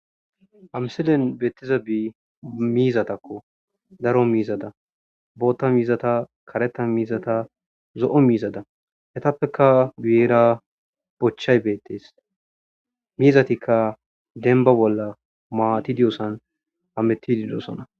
ha msilen beettiza bi miizatakko daro miizada bootta miizata kareta miizata zo7o miizada hetappeka biera bochchay beettes miizatikka denba bolla maati diyosan ametti didosona